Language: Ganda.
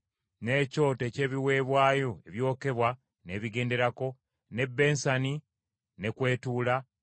n’ekyoto eky’ebiweebwayo ebyokebwa n’ebigenderako, n’ebbensani ne kw’etuula;